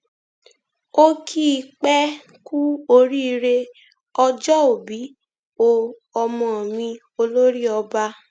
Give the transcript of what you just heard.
ó kì í pẹ kú oríire ọjọòbí o ọmọ mi olórí ọba